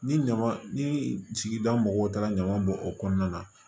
Ni ɲama ni sigida mɔgɔw taara ɲaman bɔn o kɔnɔna na